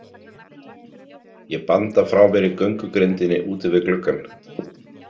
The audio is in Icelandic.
Ég banda frá mér í göngugrindinni úti við gluggann.